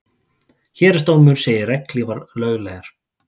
Héraðsdómur segir regnhlífar löglegar